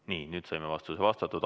Nii, nüüd saime vastuse vastatud.